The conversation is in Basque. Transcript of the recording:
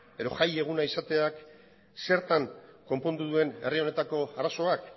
edo jaieguna izateak zertan konpondu duen herri honetako arazoak